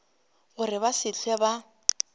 gore ba se hlwe ba